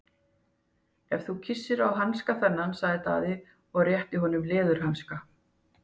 Ef þú kyssir á hanska þennan, sagði Daði og rétti að honum leðurhanska.